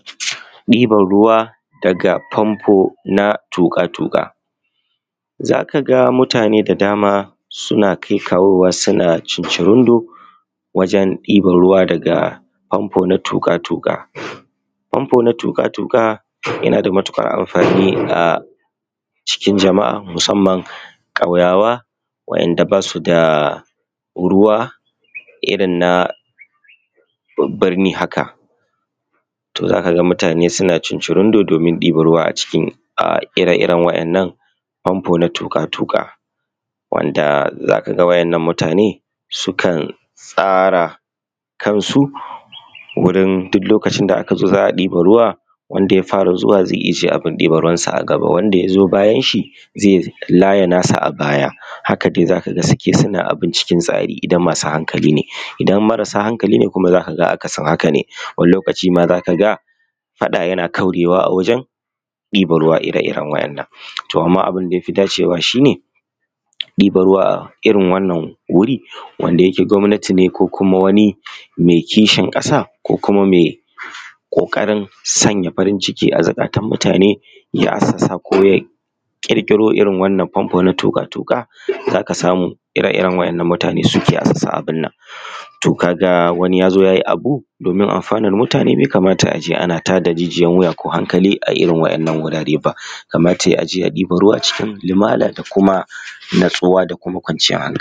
Ɗiban ruwa daga pampo na tuƙa-tuƙa. Za ka ga mutane da dama suna kai kawowa suna cincirindon wajen ɗiban ruwa daga pampo na tuƙa-tuƙa. Pampo na tuƙa-tuƙa yana da matukar amfani a cikin jama'a musamman ƙauyawa waɗanda ba su daa ruwa irin na bu burni haka, to za ka ga mutane suna cincirindon domin diban ruwa a cikin um ire-iren waddan nan pampo na tuƙa-tuƙa. Wanda za ka ga waɗannan mutane sukan tsara kansu wurin duk lokacin da a ka zo za ɗiban ruwa wanda ya fara zuwa zai ijiye abun ɗiban ruwan sa a gaba, wanda ya zo bayan shi zai laya na shi a baya haka za ka ga suke suna abin cikin tsari idan masu hankali ne, idan marasa hankali ne kuma za ka ga akasin hakan ne, wani lokaci ma za ka ga faɗa yana kaurewa a wajen ɗiban ruwa ire-iren waɗannan. To amma abun da ya fi da dacewa shine, diban ruwa a irin wannan wuri wanda yake gwamnatin ne, ko kuma wani mai kishin ƙasa ko kuma mai ƙoƙari sanya farin ciki zuƙatan mutane ya assasa ko kuma ya ƙirƙiro irin wannan pampo na tuƙa-tuƙa za ka samu ire-iren wannan mutane suke assasa abun nan. To ka ga wani ya zo ya yi wani abu domin amfanar mutane bai kamata a je ana tada jijiyar wuya ko hankali a irin wannan wurare ba, kamata ya yi a je a ɗibar ruwa cikin lumana da kuma natsuwa da kuma kwanciyar hankali.